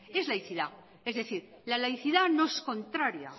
es laicidad es decir la laicidad no es contraria